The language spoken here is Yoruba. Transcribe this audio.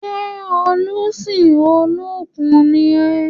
Ṣé olùsìn Olókun ni ọ́?